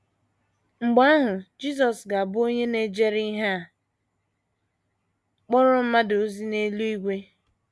Mgbe ahụ, Jisọs ga - abụ onye na - ejere ihe a kpọrọ mmadụ ozi n’eluigwe.